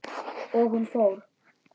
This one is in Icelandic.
Og hún fór.